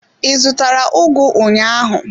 I zụtara ugu ụnyaahụ?